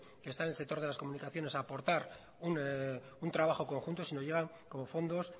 que está en el sector de las comunicaciones a aportar un trabajo conjunto sino llegan como fondos